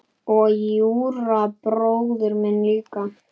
Og Júra bróðir minn líka.